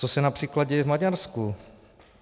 Co se například děje v Maďarsku?